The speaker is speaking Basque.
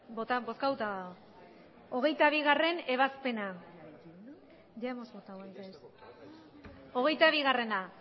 bozkatuta dago hogeita bigarrena